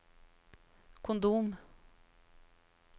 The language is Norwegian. kondom